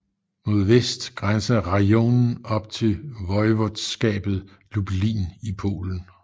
Mod vest grænser rajonen op til voivodskabet Lublin i Polen